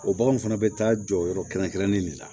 O baganw fana bɛ taa jɔ yɔrɔ kɛrɛnkɛrɛnnen de la